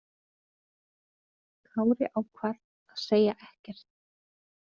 Kári ákvað að segja ekkert.